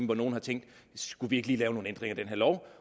hvor nogen har tænkt skulle vi lige lave nogle ændringer i den her lov